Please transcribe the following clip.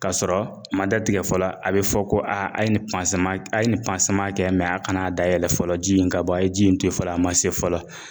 K'a sɔrɔ a ma datigɛ fɔlɔ, a be fɔ ko a ye nin a ye nin kɛ mɛ a kana dayɛlɛ fɔlɔ ji in ka bɔ , a ye ji in to yen fɔlɔ, a ma se fɔlɔ.